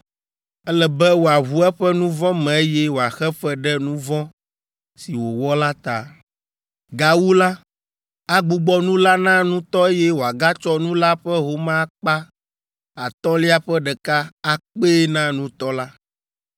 Ele be wòaʋu eƒe nu vɔ̃ me eye wòaxe fe ɖe nu vɔ̃ si wòwɔ la ta. Gawu la, agbugbɔ nu la na nutɔ eye wòagatsɔ nu la ƒe home akpa atɔ̃lia ƒe ɖeka akpee na nutɔ la.